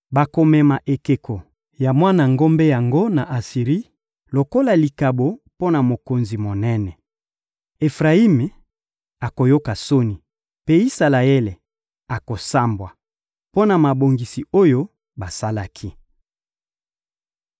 Bakomema ekeko ya mwana ngombe yango na Asiri lokola likabo mpo na mokonzi monene. Efrayimi akoyoka soni, mpe Isalaele akosambwa mpo na mabongisi oyo basalaki.